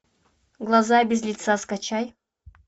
глаза без лица скачай